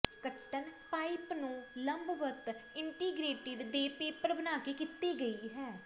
ਕੱਟਣ ਪਾਈਪ ਨੂੰ ਲੰਬਵਤ ਇੰਟੀਗ੍ਰੇਟਿਡ ਦੇ ਪੇਪਰ ਬਣਾ ਕੇ ਕੀਤੀ ਗਈ ਹੈ